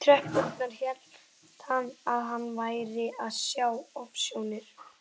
tröppurnar hélt hann að hann væri að sjá ofsjónir.